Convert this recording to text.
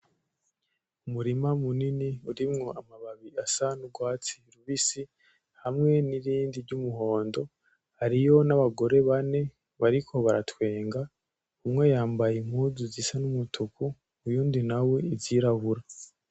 Umurima munini urimwo amababi asa n’urwatsi rubisi hamwe n’irindi ry’umuhondo hariyo n’abagore bane bariko baratwenga umwe yambaye impunzu zisa n’umutuku uwundi nawe izirabura